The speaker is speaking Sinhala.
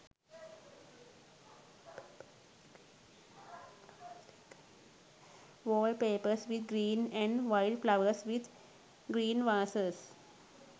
wall papers with green and white flowers with green vasses